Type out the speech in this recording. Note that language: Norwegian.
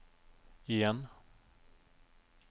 igjen